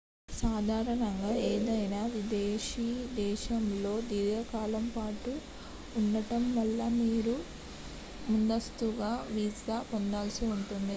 సాధారణంగా ఏదైనా విదేశీ దేశంలో దీర్ఘకాలం పాటు ఉండటం వల్ల మీరు ముందస్తుగా వీసా పొందాల్సి ఉంటుంది